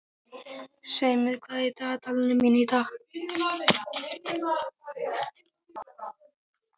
Seimur, hvað er í dagatalinu mínu í dag?